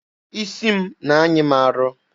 Isi m na-anyị m arọ.